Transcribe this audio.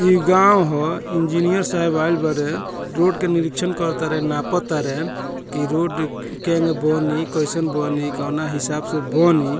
इ गाँव हअ इंजीनियर साहेब आइल बारे रोड के निरिक्षण करातारे नापा तारे की रोड केगन बनी कइसन बनी कोना हिसाब से बनी।